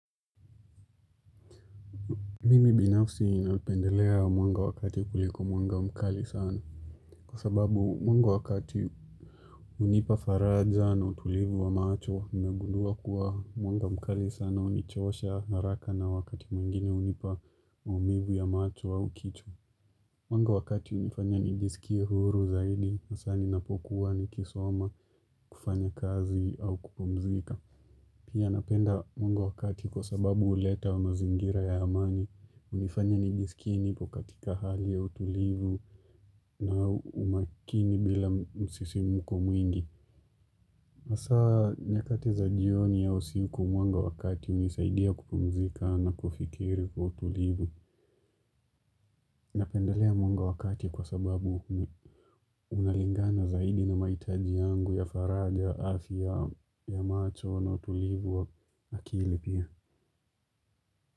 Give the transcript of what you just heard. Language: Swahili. Mimi binafsi ninapendelea mwanga wakati kuliko mwanga mkali sana. Kwa sababu mwanga wakati unipa faraja na utulivu wa macho, nimegundua kuwa mwanga mkali sana unichosha haraka na wakati mwingine unipa maumivu ya macho au kichwa. Mwanga wakati unifanya nijiskie huru zaidi, hasa ninapokuwa nikisoma kufanya kazi au kupumzika. Pia napenda mwanga wakati kwa sababu uleta wa mazingira ya amani, unifanya nijisikie nipo katika hali ya utulivu na umakini bila msisimko mwingi masaa nyakati za jioni au usiku mwanga wakati unisaidia kupumzika na kufikiri kwa utulivu na pendalea mwanga wakati kwa sababu unalingana zaidi na mahitaji yangu ya faraja, afya ya macho na utulivu wa akili pia.